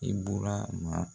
Ibɔrama